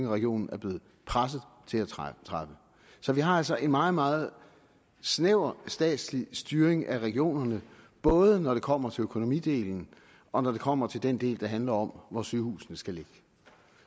regionen er blevet presset til at træffe så vi har altså en meget meget snæver statslig styring af regionerne både når det kommer til økonomidelen og når det kommer til den del der handler om hvor sygehusene skal ligge